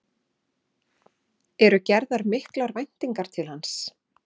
Eru gerar miklar væntingar til hans?